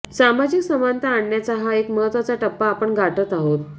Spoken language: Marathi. सामाजिक समानता आणण्याचा हा एक महत्वाचा टप्पा आपण गाठत आहोत